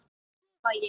klifa ég.